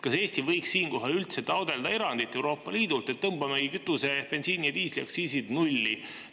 Kas Eesti võiks siinkohal üldse taotleda erandit Euroopa Liidult, et tõmbame kütuse-, bensiini- ja diisliaktsiisi nulli?